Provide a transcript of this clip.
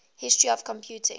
history of computing